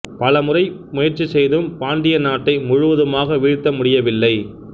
பலமுறை முயற்சி செய்தும் பாண்டிய நாட்டை முழுவதுமாக வீழ்த்த முடியவில்லை